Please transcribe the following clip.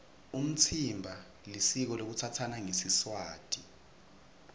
umtsimba lisiko lekutsatsana ngesiswati